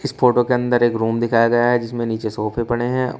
इस फोटो के अंदर एक रूम दिखाया गया है जिसमें नीचे सोफे पड़े हैं।